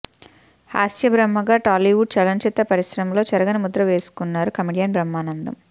హాస్య బ్రహ్మగా టాలీవుడ్ చలనచిత్ర పరిశ్రమలో చెరగని ముద్ర వేసుకున్నారు కమెడియన్ బ్రహ్మానందం